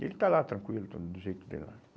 E ele está lá, tranquilo, todo, do jeito dele lá.